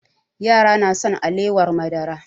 Yara na son alewar madara